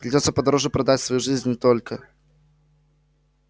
придётся подороже продать свою жизнь и только